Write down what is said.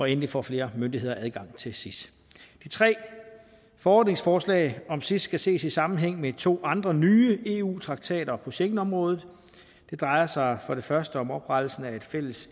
endelig får flere myndigheder adgang til sis de tre forordningsforslag om sis skal ses i sammenhæng med to andre nye eu traktater på schengenområdet og det drejer sig for det første om oprettelsen af et fælles